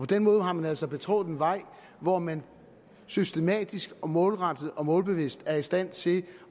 den måde har man altså betrådt en vej hvor man systematisk og målrettet og målbevidst er i stand til